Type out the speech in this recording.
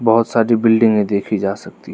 बहोत सारी बिल्डिंगे देखी जा सकती--